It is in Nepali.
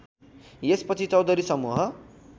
यसपछि चौधरी समूह